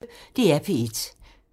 DR P1